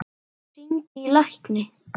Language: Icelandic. Hringi í lækni.